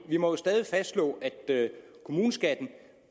vi må jo stadig fastslå at kommuneskatten